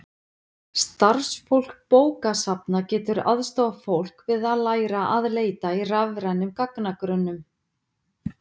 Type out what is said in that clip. starfsfólk bókasafna getur aðstoðað fólk við að læra að leita í rafrænum gagnagrunnum